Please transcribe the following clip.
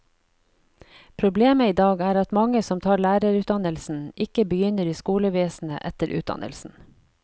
Problemet i dag er at mange som tar lærerutdannelsen, ikke begynner i skolevesenet etter utdannelsen.